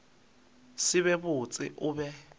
se be botse o be